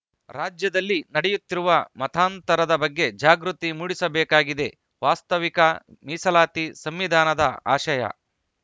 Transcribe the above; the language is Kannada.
ರಾಜ್ಯದಲ್ಲಿ ನಡೆಯುತ್ತಿರುವ ಮತಾಂತರದ ಬಗ್ಗೆ ಜಾಗೃತಿ ಮೂಡಿಸಬೇಕಾಗಿದೆ ವಾಸ್ತವಿಕ ಮೀಸಲಾತಿ ಸಂವಿಧಾನದ ಆಶಯ